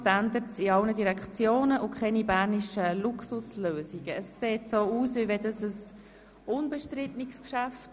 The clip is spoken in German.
Es sieht so aus, als wäre dies ein unbestrittenes Geschäft.